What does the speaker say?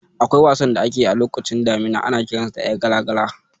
Akwai wasan da ake yi a lokacin damuna, ana kiransa da "Ƴar gala-gala".